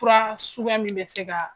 Fura suguya min bɛ se ka